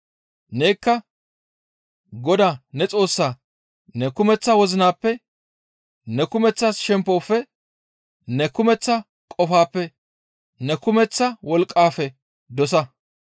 Nekka Godaa ne Xoossaa ne kumeththa wozinappe, ne kumeththa shemppofe, ne kumeththa qofappe, ne kumeththa wolqqafe dosa.›